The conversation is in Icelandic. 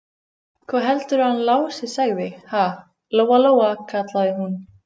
Hvað heldurðu að hann Lási segði, ha, Lóa-Lóa, kallaði hún.